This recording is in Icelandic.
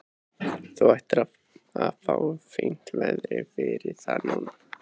Þú ættir að fá fínt verð fyrir það núna.